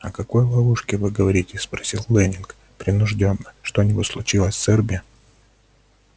о какой ловушке вы говорите спросил лэннинг принуждённо что-нибудь случилось с эрби